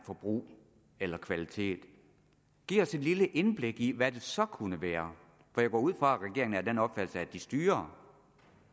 forbrug eller kvalitet giv os et lille indblik i hvad det så kunne være for jeg går ud fra at regeringen er af den opfattelse at den styrer